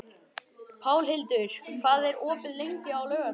Pálhildur, hvað er opið lengi á laugardaginn?